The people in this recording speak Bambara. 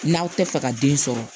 N'aw tɛ fɛ ka den sɔrɔ